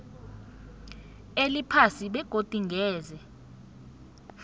eliphasi begodu ngeze